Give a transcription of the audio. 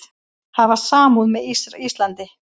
Hafa samúð með Íslandi